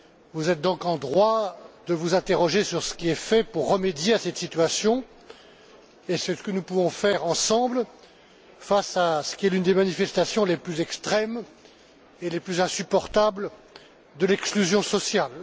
Vous êtes donc en droit de vous interroger sur ce qui est fait pour remédier à cette situation et c'est ce que nous pouvons faire ensemble face à ce qui est l'une des manifestations les plus extrêmes et les plus insupportables de l'exclusion sociale.